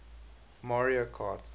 mario kart